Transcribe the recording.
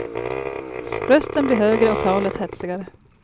Rösten blir högre och talet hetsigare.